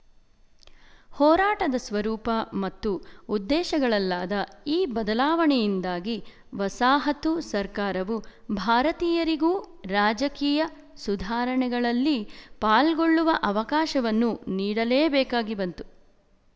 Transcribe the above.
ಹೋರಾಟದ ಸ್ವರೂಪ ಮತ್ತು ಉದ್ದೇಶಗಳಲ್ಲಾದ ಈ ಬದಲಾವಣೆಯಿಂದಾಗಿ ವಸಾಹತು ಸರ್ಕಾರವು ಭಾರತೀಯರಿಗೂ ರಾಜಕೀಯ ಸುಧಾರಣೆಗಳಲ್ಲಿ ಪಾಲ್ಗೊಳ್ಳುವ ಅವಕಾಶವನ್ನು ನೀಡಲೇಬೇಕಾಗಿಬಂತು